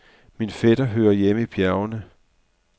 Min fætter hører hjemme i bjergene.